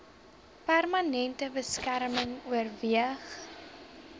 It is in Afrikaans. permanente beskerming oorweeg